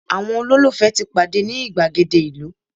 àwọn ololufe ti pade ni igbagede ìlú